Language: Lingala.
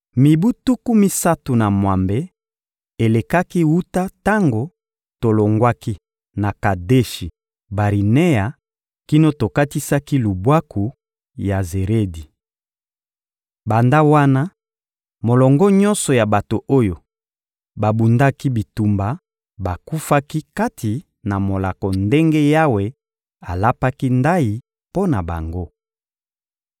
Mibu tuku misato na mwambe elekaki wuta tango tolongwaki na Kadeshi-Barinea kino tokatisaki lubwaku ya Zeredi. Banda wana, molongo nyonso ya bato oyo babundaki bitumba bakufaki kati na molako ndenge Yawe alapaki ndayi mpo na bango.